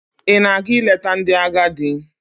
Ị na-aga ileta ndị agadị?